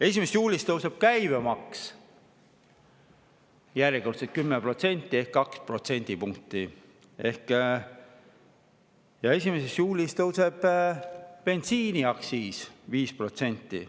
1. juulil tõuseb käibemaks järjekordselt 10% ehk 2 protsendipunkti ja bensiiniaktsiis tõuseb 5%.